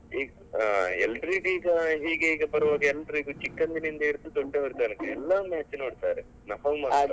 ಅಹ್ ಆ ಎಲ್ಲರಿಗಿಗಾ ಹೀಗೀಗೆ ಬರುವಾಗ ಎಲ್ಲರಿಗೂ ಚಿಕ್ಕಂದಿನಿಂದ ಹಿಡಿದು ದೊಡ್ಡವರ ತನಕ ಎಲ್ಲರು match ನೋಡ್ತಾರೆ. ನಾವು ಮಾತ್ರ ಅಲ್ಲ.